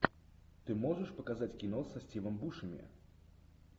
ты можешь показать кино со стивом бушеми